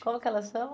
Como que elas chamam?